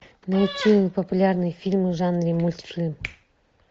найти популярные фильмы в жанре мультфильм